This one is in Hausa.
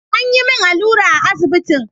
An yi min allura a asibitin.